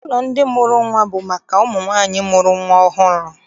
Ụlọ ndị mụrụ nnwa bụ maka ụmụ nwaanyị mụrụ nnwa ọhụrụ.